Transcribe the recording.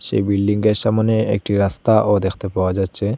এই বিল্ডিংয়ের সামোনে একটি রাস্তাও দেখতে পাওয়া যাচ্ছে।